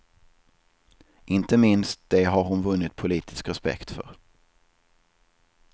Inte minst det har hon vunnit politisk respekt för.